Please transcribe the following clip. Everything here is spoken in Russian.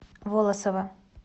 волосово